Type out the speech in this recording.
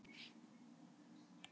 Af hverju eru sum hljóð óþægileg?